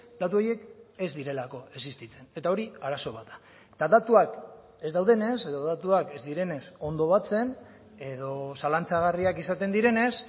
datu horiek ez direlako existitzen eta hori arazo bat da eta datuak ez daudenez edo datuak ez direnez ondo batzen edo zalantzagarriak izaten direnez